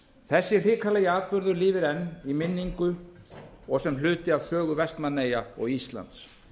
þessi hrikalegi atburður lifir enn í minningu og sem hluti af sögu vestmannaeyja og íslands